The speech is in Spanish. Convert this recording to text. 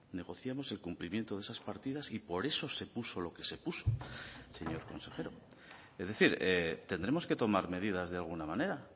negociamos el cumplimiento de esas partidas y por esos se puso lo que se puso señor consejero es decir tendremos que tomar medidas de alguna manera